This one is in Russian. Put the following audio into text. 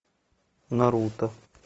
наруто